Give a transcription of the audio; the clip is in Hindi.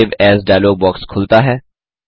सेव एएस डायलॉग बॉक्स खुलता है